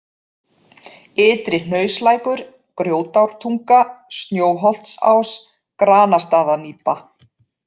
Ytri-Hnauslækur, Grjótártunga, Snjóholtsás, Granastaðanípa